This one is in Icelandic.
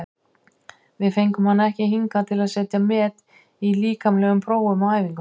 Við fengum hann ekki hingað til að setja met í líkamlegum prófum á æfingum.